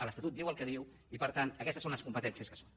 l’estatut diu el que diu i per tant aquestes són les competències que són